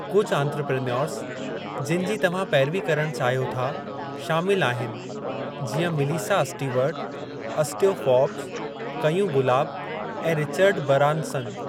कुझु आंत्रप्रेन्योर्स जिनि जी तव्हां पेरवी करणु चाहियो था शामिलु आहिनि जीअं मीलीसा असटीवरट, असटयो फ़ोर्ब्स, कयूं गुलाब, ऐं रिचर्ड बरानसन।